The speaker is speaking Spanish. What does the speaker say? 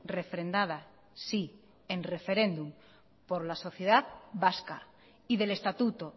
refrendada sí en referéndum por la sociedad vasca y del estatuto